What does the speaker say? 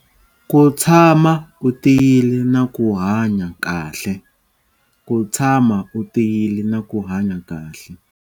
Ku tshama u tiyile na ku hanya kahle. Ku tshama u tiyile na ku hanya kahle.